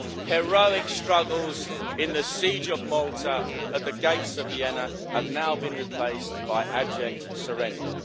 Heroic struggles in the Siege of Malta, at the Gates of Vienna, have now been replaced by abject surrender.